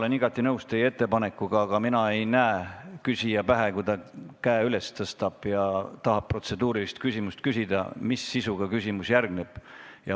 Ma olen igati nõus teie ettepanekuga, aga mina ei näe küsija pähe, kui ta käe üles tõstab ja tahab protseduurilist küsimust küsida, et mis sisuga küsimus järgneb.